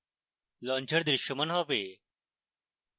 launcher দৃশ্যমান হবে